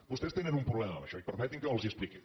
vostès tenen un problema amb això i permetin me que els ho expliqui